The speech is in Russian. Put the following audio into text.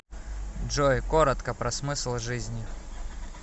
джой коротко про смысл жизни